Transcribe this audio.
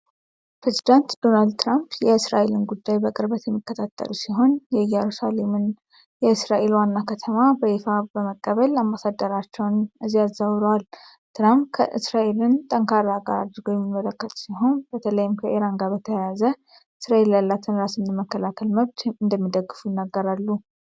ፕሬዝደንት ዶናልድ ትራምፕ የእስራኤልን ጉዳይ በቅርበት የሚከታተሉ ሲሆን፣ የኢየሩሳሌምን የእስራኤል ዋና ከተማነት በይፋ በመቀበል አምባሳደርያቸውን እዚያ አዛውረዋል። ትራምፕ እስራኤልን ጠንካራ አጋር አድርገው የሚመለከቱ ሲሆን፣ በተለይም ከኢራን ጋር በተያያዘ እስራኤል ያላትን ራስን የመከላከል መብት እንደሚደግፉ ይናገራሉ።